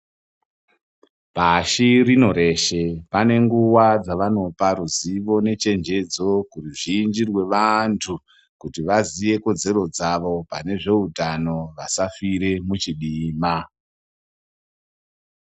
Pashi rino reshe pane nguwa dzavanopa ruzivo nechenjedzo kuruzhinji rwevantu kuti vaziye kodzero dzavo pane zveutano kuti vasafire muchidima.